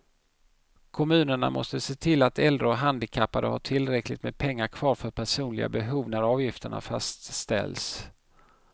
Kommunerna måste se till att äldre och handikappade har tillräckligt med pengar kvar för personliga behov när avgifterna fastställs.